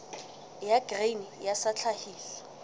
ya grain sa ya tlhahiso